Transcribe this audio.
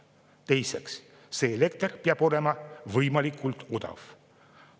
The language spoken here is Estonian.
Teiseks, elekter peab olema võimalikult odav.